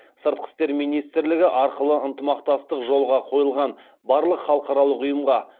сыртқы істер министрлігі арқылы ынтымақтастық жолға қойылған барлық халықаралық ұйымға